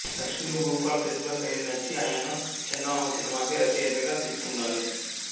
లక్ష్మీభూపాల్ ప్రతిభ శైలి నచ్చి ఆయనను చందమామ సినిమాకి రచయితగా తీసుకున్నారు